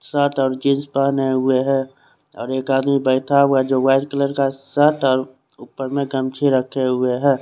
Shirt और jeans पहने हुए है और एक आदमी बैठा हुआ है जो वाइट कलर का शर्ट ऊपर में गमछी रखे हुए है।